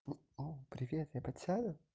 о привет я подсяду